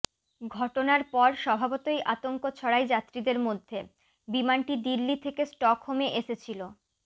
ঘটনার পর স্বভাবতই আতঙ্ক ছড়ায় যাত্রীদের মধ্যে বিমানটি দিল্লি থেকে স্টকহোমে এসেছিল